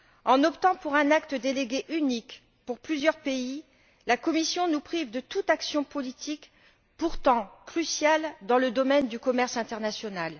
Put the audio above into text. En optant pour un acte délégué unique pour plusieurs pays, la Commission nous prive de toute action politique, pourtant cruciale, dans le domaine du commerce international.